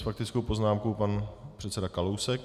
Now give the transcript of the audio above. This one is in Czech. S faktickou poznámkou pan předseda Kalousek.